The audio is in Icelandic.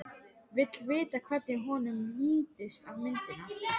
Vill vita hvernig honum lítist á myndina.